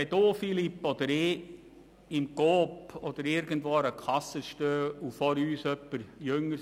Philippe Müller oder ich werden wohl kaum noch einen Ausweis zeigen müssen, wenn wir beispielsweise im Coop Alkohol oder Tabak kaufen.